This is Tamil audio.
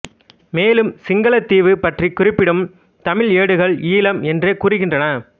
மேலும் சிங்களத்தீவு பற்றிக் குறிப்பிடும் தமிழ் ஏடுகள் ஈழம் என்றே கூறுகின்றன